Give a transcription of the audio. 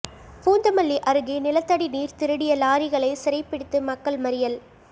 பூந்தமல்லி அருகே நிலத்தடி நீர் திருடிய லாரிகளை சிறைபிடித்து மக்கள் மறியல்